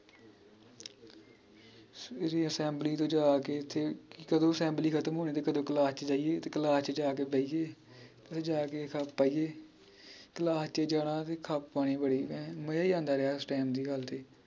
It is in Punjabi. ਸਵੇਰੇ assembly ਤੋਂ ਜਾ ਕੇ ਓਥੇ ਕਦੋ assembly ਖਤਮ ਹੋਣੀ ਤੇ ਕਦੋ ਕਲਾਸ ਚ ਜਾਈਏ ਤੇ ਕਲਾਸ ਚ ਜਾ ਕੇ ਬਯਿਏ ਫੇਰ ਜਾ ਕੇ ਖੱਪ ਪਾਈਏ ਕਲਾਸ ਚ ਜਾਣਾ ਤੇ ਖੱਪ ਪਾਣੀ ਬੜੀ ਭੈਣ ਮਜਾ ਈ ਆਂਦਾ ਰਿਹਾ ਉਸ ਦੀ ਗੱਲ ਤੇ